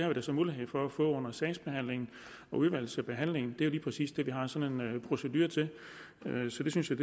jo så mulighed for at få under sagsbehandlingen og udvalgsbehandlingen det er jo lige præcis det vi har sådan en procedure til så det synes jeg